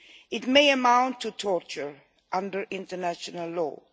It may amount to torture under international law.